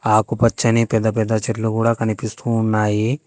ఆకుపచ్చని పెద్ద పెద్ద చెట్లు కూడా కనిపిస్తూ ఉన్నాయి.